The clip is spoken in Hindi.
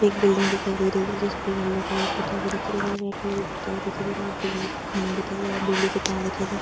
एक बिल्डिंग दिखाई दे रही है जिसपे येल्लो कलर पौता हुआ दिख दे रहा है रेड कलर का पौता हुआ दिख दे रहा है बिजली का खम्बा दिखाई दे रहा है बिजली के तार दिखाई दे --